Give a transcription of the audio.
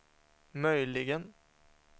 möjligen